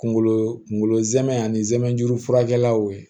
Kunkolo kunkolo zɛmɛ ani zɛmɛ juru furakɛlaw ye